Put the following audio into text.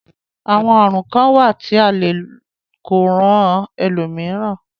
Àwọn àrùn kán wà tí a le e kó ran ẹlòmíràn.